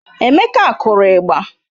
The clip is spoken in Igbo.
Emeka kụrụ ịgba